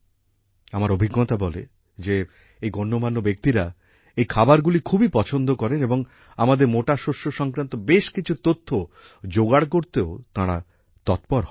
আমার অভিজ্ঞতা বলে যে এই গণ্যমান্য ব্যক্তিরা এই খাবারগুলি খুবই পছন্দ করেন এবং আমাদের মোটা শস্য সংক্রান্ত বেশ কিছু তথ্য জোগাড় করতেও তাঁরা তৎপর হন